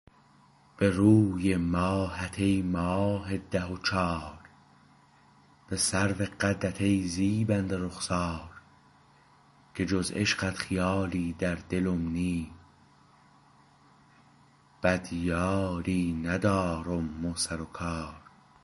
به روی ماهت ای ماه ده و چار به سرو قدت ای زیبنده رخسار که جز عشقت خیالی در دلم نی به دیاری ندارم مو سر و کار